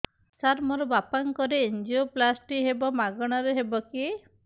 ସାର ମୋର ବାପାଙ୍କର ଏନଜିଓପ୍ଳାସଟି ହେବ ମାଗଣା ରେ ହେବ କି